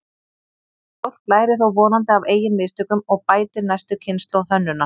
Fólk lærir þó vonandi af eigin mistökum og bætir næstu kynslóð hönnunar.